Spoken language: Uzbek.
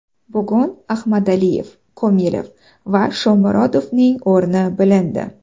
Bugun Ahmadaliyev, Komilov va Shomurodovning o‘rni bilindi.